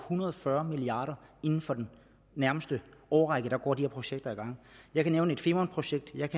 hundrede og fyrre milliard kr og inden for den nærmeste årrække går de her projekter i gang jeg kan nævne femernprojektet